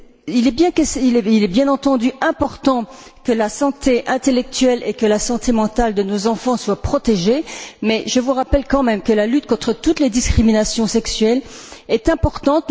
Il est bien entendu important que la santé intellectuelle et mentale de nos enfants soit protégée, mais je vous rappelle quand même que la lutte contre toutes les discriminations sexuelles est importante.